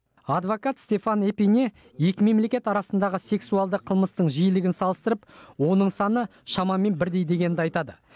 адвокат стефан эпине екі мемлекет арасындағы сексуалды қылмыстың жиілігін салыстырып оның саны шамамен бірдей дегенді айтады